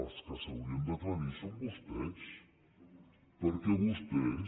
els que s’haurien d’aclarir són vostès perquè vostès